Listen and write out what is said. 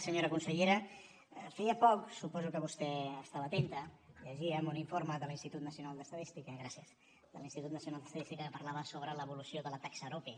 senyora consellera feia poc suposo que vostè hi estava atenta llegíem un informe de l’institut nacional d’estadística gràcies que parlava sobre l’evolució de la taxa arope